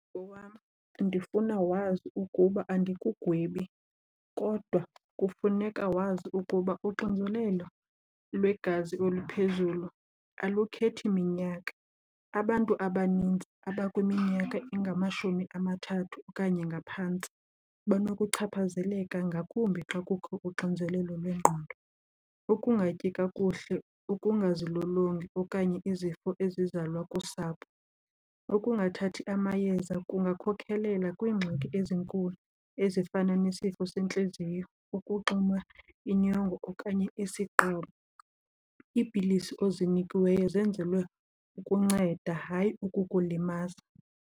Owam, ndifuna wazi ukuba andikugwebi kodwa kufuneka wazi ukuba uxinzelelo lwegazi oluphezulu alukhethi minyaka. Abantu abaninzi abakwiminyaka engamashumi amathathu okanye ngaphantsi banokuchaphazeleka ngakumbi xa kukho uxinzelelo lwengqondo, ukungatyi kakuhle, ukungazilolongi okanye izifo ezizalwa kusapho. Ukungathathi amayeza kungakhokelela kwiingxaki ezinkulu ezifana nesifo sentliziyo, ukuxinwa inyongo okanye isiqobo. Iipilisi ozinikiweyo zenzelwe ukunceda, hayi ukukulimaza.